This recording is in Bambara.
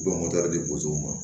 U bɛ mɔtɛridiw ma